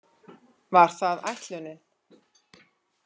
Var það ætlunin?